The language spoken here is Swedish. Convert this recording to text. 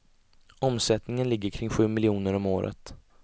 Omsättningen ligger kring sju miljoner om året.